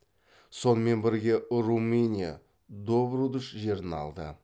сонымен бірге румыния добрудж жерін алды